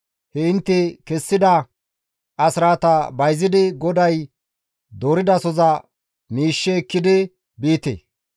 he intte kessida asraata bayzidi miishsheza GODAY dooridasoza miishshe ekkidi biite.